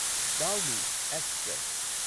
Dhauli express